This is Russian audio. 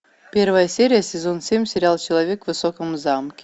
первая серия сезон семь сериал человек в высоком замке